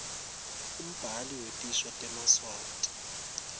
umbhali wetisho temaswati